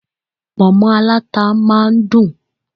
Ponmo aláta máa dùn.